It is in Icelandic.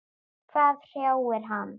Hvað hrjáir hann?